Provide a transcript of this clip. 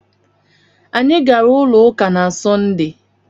Anyị gaara ụlọ ụka na Sọnde.